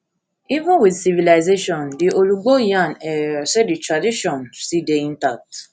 even wit civilization di olugbo yarn um say di tradition still dey intact